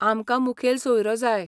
आमकां मुखेल सोयरो जाय.